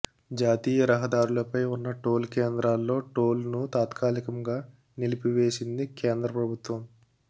జాతీయరహదారులపై ఉన్న టోల్ కేంద్రాల్లో టోల్ ను తాత్కాలికంగా నిలిపివేసింది కేంద్ర ప్రభుత్వం